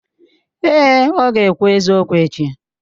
Èè, ọ ga-ekwu eziokwu echi.